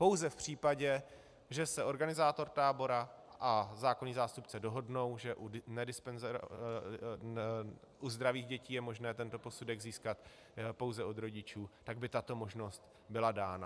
Pouze v případě, že se organizátor tábora a zákonný zástupce dohodnou, že u zdravých dětí je možné tento posudek získat pouze od rodičů, tak by tato možnost byla dána.